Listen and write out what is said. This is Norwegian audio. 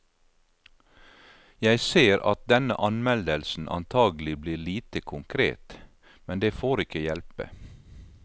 Jeg ser at denne anmeldelsen antagelig blir lite konkret, men det får ikke hjelpe.